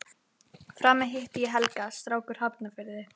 Frammi hitti ég Helga, strák úr Hafnarfirði.